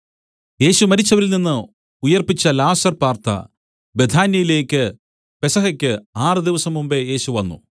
യേശു മരിച്ചവരിൽനിന്ന് ഉയിർപ്പിച്ച ലാസർ പാർത്ത ബേഥാന്യയിലേക്കു പെസഹയ്ക്ക് ആറ് ദിവസം മുമ്പെ യേശു വന്നു